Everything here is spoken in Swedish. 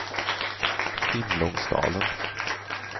Simlångsdalen